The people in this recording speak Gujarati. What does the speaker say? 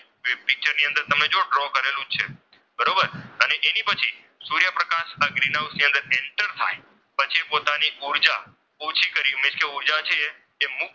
એની પછી સૂર્યપ્રકાશ ગ્રીનહાઉસ ની અંદર enter થાય પછી પોતાની ઊર્જા ઓછી કરી મીન્સ કે ઊર્જા છે એ મૂકીને,